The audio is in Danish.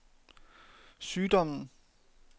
sygdommen